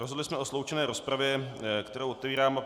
Rozhodli jsme o sloučené rozpravě, kterou otevírám.